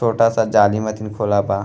छोटा सा जाली मतीन खुला बा।